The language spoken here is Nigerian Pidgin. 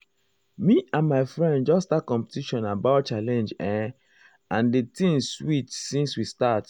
me and my friend just start competition aboyt challenge errr and di thing sweet since we start.